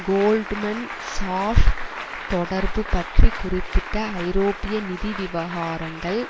Goldman Sachs தொடர்பு பற்றி குறிப்பிட்ட ஐரோப்பிய நிதி விவகாரங்கள்